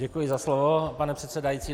Děkuji za slovo, pane předsedající.